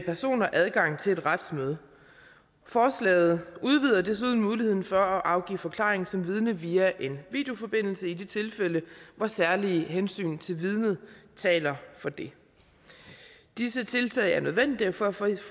personer adgang til et retsmøde forslaget udvider desuden muligheden for at afgive forklaring som vidne via en videoforbindelse i de tilfælde hvor særlige hensyn til vidnet taler for det disse tiltag er nødvendige for at for